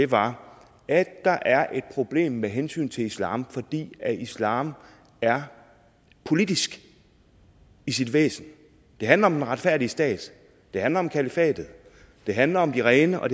var at der er et problem med hensyn til islam fordi islam er politisk i sit væsen det handler om den retfærdige stat det handler om kalifatet det handler om de rene og